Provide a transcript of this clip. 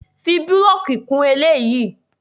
Fi búlọ̀kì kún eléyìí!